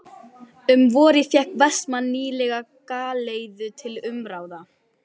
Um vorið fékk Vestmann nýlega galeiðu til umráða.